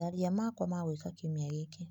Tharia makwa ma gwĩka kiumia gĩkĩ .